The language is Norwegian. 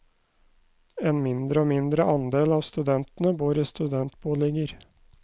En mindre og mindre andel av studentene bor i studentboliger.